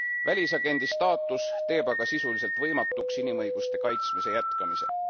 Välisagendi staatus teeb aga sisuliselt võimatuks inimõiguste kaitsmise jätkamise.